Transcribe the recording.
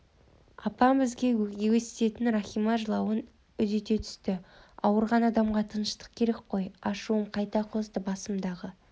апам бізге өстетін рахима жылауын үдете түсті ауырған адамға тыныштық керек қой ашуым қайта қозды басымдағы